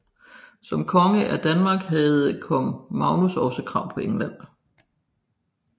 Som konge af Danmark havde kong Magnus også krav på England